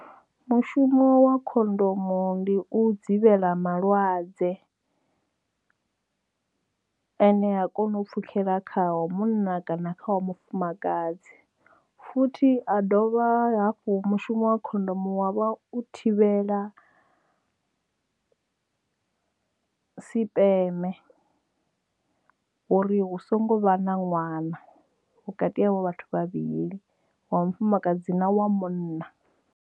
Mushumo wa khondomo ndi u dzivhela malwadze ane a kona u pfhukhela khaho munna kana kha wa mufumakadzi futhi ha dovha hafhu mushumo wa khondomo wavha u thivhela sipeme uri hu songo vha na ṅwana vhukati havho vhathu vhavhili wa mufumakadzi na wa munna.